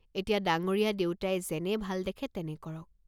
এতিয়া ডাঙ্গৰীয়া দেউতাই যেনে ভাল দেখে তেনে কৰক।